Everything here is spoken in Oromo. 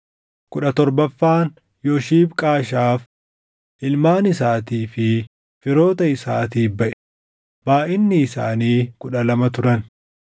kudha torbaffaan Yoshibqaashaaf, // ilmaan isaatii fi firoota isaatiif baʼe; // baayʼinni isaanii kudha lama turan